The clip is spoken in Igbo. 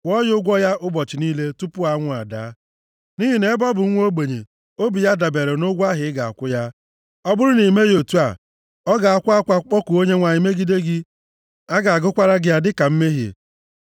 Kwụọ ya ụgwọ ya ụbọchị niile tupu anwụ adaa, nʼihi na ebe ọ bụ nwa ogbenye, obi ya dabeere nʼụgwọ ahụ ị ga-akwụ ya. Ọ bụrụ na i meghị otu a, ọ ga-akwa akwa kpọkuo Onyenwe anyị megide gị. A ga-agụkwara gị ya dịka mmehie.